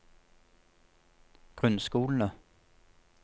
grunnskolene